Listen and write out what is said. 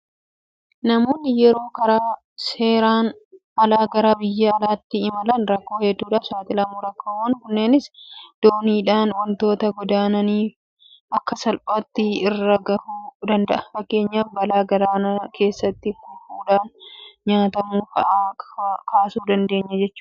Namoonni yeroo karaa seerasn alaa gara biyya alaatti imalan rakkoo hedduudhaaf saaxilamu. Rakkoowwan kunneenis dooniidhaan waanta godaananiif akka salphaatti irra gahuu danda'a. Fakkeenyaaf balaa galaana keessatti kufuudhaan nyaatamuu fa'aa kaasuu dandeenya jechuudha.